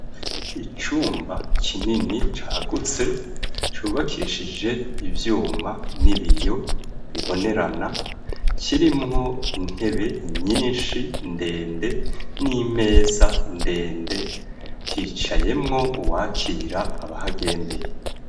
Icumba kinini cagutse cubakishije ivyuma n'ibiyo bibonerana kirimwo intebe nyinshi ndende n'imeza ndende hicayemwo uwakira abahagendeye.